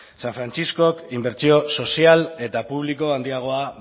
san frantziskok inbertsio sozial eta publiko handiagoa